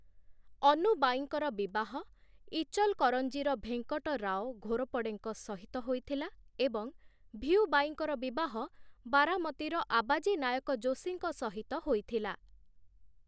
ଅନୁବାଈଙ୍କର ବିବାହ ଇଚଲକରଞ୍ଜିର ଭେଙ୍କଟରାଓ ଘୋରପଡ଼େଙ୍କ ସହିତ ହୋଇଥିଲା ଏବଂ ଭିଊବାଈଙ୍କର ବିବାହ ବାରାମତୀର ଆବାଜୀ ନାୟକ ଯୋଶୀଙ୍କ ସହିତ ହୋଇଥିଲା ।